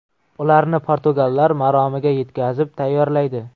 Ularni portugallar maromiga yetkazib tayyorlaydi.